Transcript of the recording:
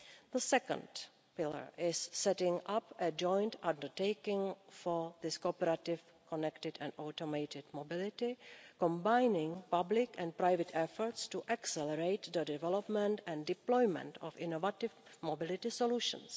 The second pillar is setting up a joint undertaking for this cooperative, connected and automated mobility combining public and private efforts to accelerate the development and deployment of innovative mobility solutions.